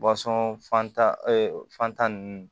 fan ta fantan ninnu